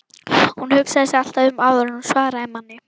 Hún hugsaði sig alltaf um áður en hún svaraði manni.